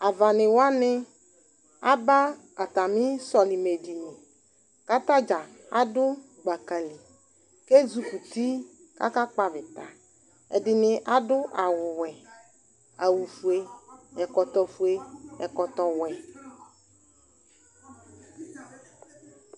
Avanɩ wanɩ aba atamɩ sɔlɩmɛdini kʋ ata dza adʋ gbaka li kʋ ezikuti kʋ akakpɔ avɩta Ɛdɩnɩ adʋ awʋwɛ, awʋfue, ɛkɔtɔfue, ɛkɔtɔwɛ,